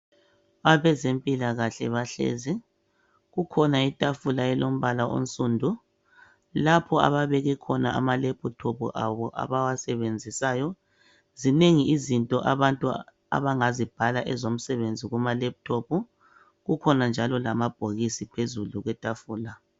Abezempilakahle bahlezi kukhona itafula elilombala onsundu lapho ababeke khona amalephuthophu abo abawasebenzisayo zinengi izinto abantu abangazibhala ezomsebenzi kuma lephuthophu kukhona njalo lamabhokisi phezulu kwetafula.